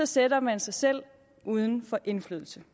sætter man sig selv uden for indflydelse